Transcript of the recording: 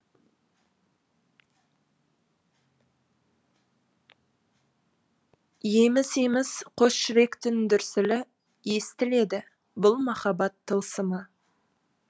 еміс еміс қос жүректің дүрсілі естіледі бұл махаббат тылсымы